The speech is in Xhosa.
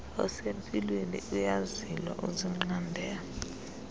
osempilweni uyazilwa uzinqande